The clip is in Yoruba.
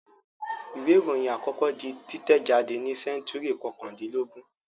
Ìwé-ìròyìn àkọ́kọ́ di títẹ̀jádé ní sẹ́ńtúrì kọkàndínlógún.